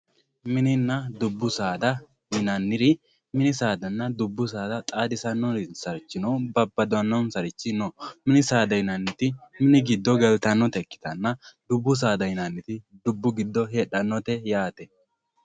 Mininna dubbu saada yinaniri mini saadanna dubbu saada xadisanosarichinna babadanonsarichi no minni saada yinaniti minu gidonni galitonotta ikitanna dubbu saada yinaniti dubbu gido hedhanote yatte